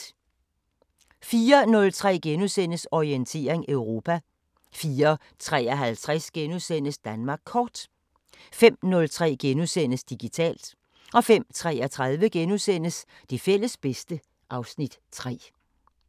04:03: Orientering Europa * 04:53: Danmark Kort * 05:03: Digitalt * 05:33: Det fælles bedste (Afs. 3)*